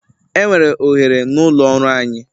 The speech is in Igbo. Enwere ohere n'ụlọ ọrụ anyị.